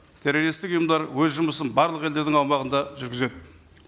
террористтік ұйымдар өз жұмысын барлық елдердің аумағында жүргізеді